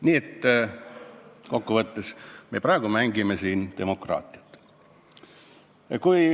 Nii et kokkuvõttes me praegu mängime siin demokraatiat.